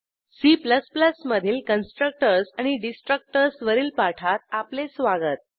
C मधील constructors आणि destructors वरील पाठात आपले स्वागत